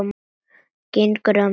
Gengur að mér.